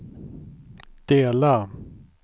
dela